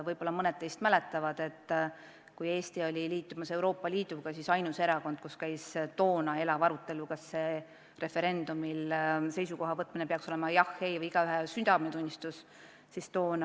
Võib-olla mõned teist mäletavad, et kui Eesti oli astumas Euroopa Liitu, siis ainus erakond, kus käis elav arutelu, kas referendumil seisukoha võtmine, jah või ei ütlemine peaks olema igaühe südametunnistuse asi, oli Keskerakond.